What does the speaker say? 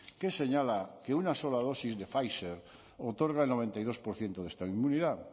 que señala que una sola dosis de pfizer otorga el noventa y dos por ciento de esta inmunidad